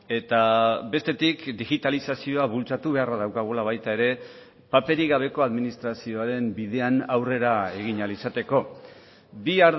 eta bestetik digitalizazioa bultzatu beharra daukagula baita ere paperik gabeko administrazioaren bidean aurrera egin ahal izateko bi